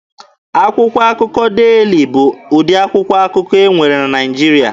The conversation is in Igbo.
Akwụkwọ akụkọ Deeli bụ ụdị akwụkwọ akụkọ e nwere na Naịjirịa.